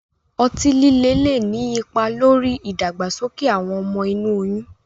Ọti-lile le ni ipa lori idagbasoke awọn ọmọ inu oyun